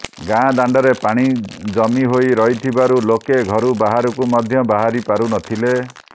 ଗାଁ ଦାଣ୍ଡରେ ପାଣି ଜମି ହୋଇ ରହିଥିବାରୁ ଲୋକେ ଘରୁ ବାହାରକୁ ମଧ୍ୟ ବାହାରିପାରୁନଥିଲେ